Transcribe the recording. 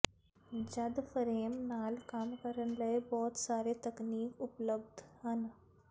ਜਦ ਫਰੇਮ ਨਾਲ ਕੰਮ ਕਰਨ ਲਈ ਬਹੁਤ ਸਾਰੇ ਤਕਨੀਕ ਉਪਲਬਧ ਹਨ